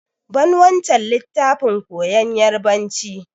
Ban wancan littafin koyan yarbanci!